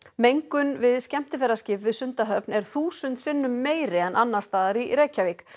mengun við skemmtiferðaskip við Sundahöfn er þúsund sinnum meiri en annars staðar í Reykjavík